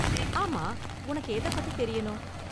ஆமா, உனக்கு எதப் பத்தி தெரியணும்?